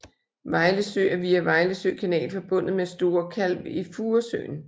Vejlesø er via Vejlesø kanal forbundet med Store Kalv i Furesøen